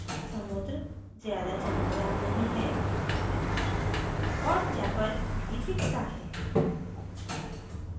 समुद्र ज़्यादा चमकदार नहीं है और chapel प्रार्थनास्थल भी दिखता है